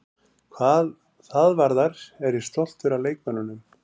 Hvað það varðar er ég stoltur af leikmönnunum.